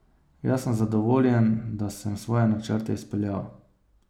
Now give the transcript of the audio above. Jaz sem zadovoljen, da sem svoje načrte izpeljal.